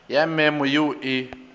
ya memo ye o e